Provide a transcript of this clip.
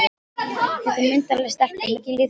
Þetta er myndarleg stelpa, mikil íþróttahetja.